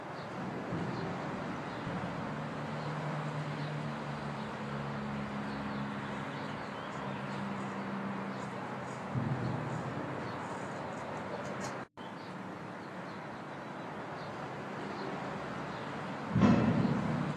Konkolaatan daandii irra ni jira. Konkolaatan fuulduratti mul'atu kuni haalluu diimaa qaba. Manneen daandii kana cinaa ni jiru. Humni daddabarsa ibsaa ni jira. Duumessi samii keessaa ni mul'ata. Goomman konkolaataa ni mul'ata.